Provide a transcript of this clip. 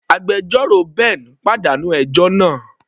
Agbẹjọ́rò Ben pàdánù ẹjọ́ náà.